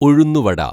ഉഴുന്നുവട